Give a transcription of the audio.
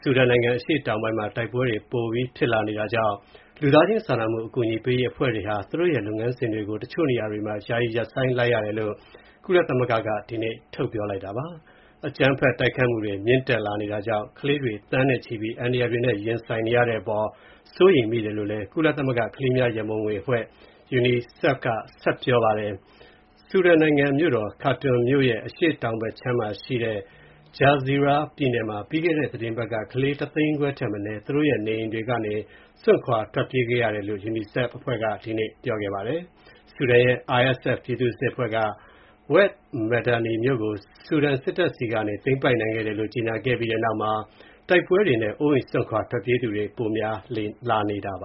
ဆူဒန်နိုင်ငံ အရှေ့တောင်ပိုင်းမှာ တိုက်ပွဲတွေ ပိုပြီးဖြစ်လာနေတာကြောင့် လူသားချင်းစာနာမှု အကူအညီပေးရေးအဖွဲ့တွေဟာ သူတို့ရဲ့လုပ်ငန်းစဉ်တွေကို တချို့နေရာတွေမှာ ယာယီရပ်ဆိုင်းလိုက်ရပါတယ်။ အကြမ်းဖက်တိုက်ခိုက်မှုတွေ မြင့်တက်လာနေတာကြောင့် ကလေးတွေ သန်းနဲ့ချီပြီး အန္တရာယ်တွေနဲ့ရင်ဆိုင်နေရတဲ့အပေါ် စိုးရိမ်ကြောင့် ကုလသမဂ္ဂကလေးများရံပုံငွေအဖွဲ့ UNICEF ပြောပါတယ်။ ဆူဒန်နိုင်ငံမြို့တော် ခါတွန်မြို့ရဲ့ အရှေ့တောင်ဘက်မှာရှိတဲ့ Jazeera ပြည်နယ်မှာ ပြီးခဲ့တဲ့သီတင်းပတ်က ကလေး ၁ သိန်းခွဲထက်မနည်း သူတို့ရဲ့ နေအိမ်တွေကနေ စွန့်ခွာထွက်ပြေးခဲ့ရတယ်လို့ UNICEF အဖွဲ့က ဒီနေ့ ပြောပါတယ်။ ဆူဒန်ရဲ့ RSF ပြည်သူ့စစ်အဖွဲ့က Wed Medani မြို့ကို ဆူဒန်စစ်တပ်ဆီကနေ သိမ်းပိုက်နိုင်ခဲ့တယ်လို့ ကြေညာပြီးတဲ့နောက်မှာ တိုက်ပွဲတွေနဲ့ အိုးအိမ်စွန့်ခွာထွက်ပြေးသူတွေ ပိုများလာနေတာပ